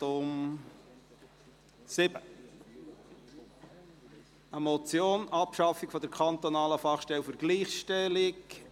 Es handelt sich um die Motion «Abschaffung der kantonalen Fachstelle für Gleichstellung!».